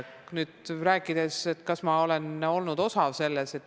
Nüüd, kas ma olen olnud osa selles?